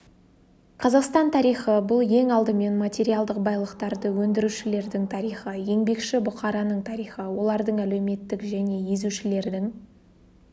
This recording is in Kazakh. қазақстан тарихы бұл ең алдымен материалдық байлықтарды өндірушілердің тарихы еңбекші бұқараның тарихы олардың әлеуметтік және езушілердің